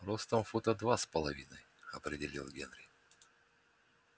ростом фута два с половиной определил генри